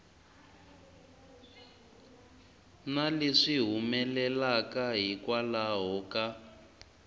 na leswi humelelaka hikwalaho ka